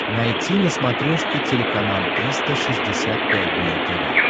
найти на смотрешке телеканал триста шестьдесят пять дней тв